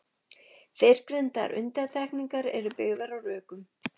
Fyrrgreindar undantekningar eru byggðar á rökum.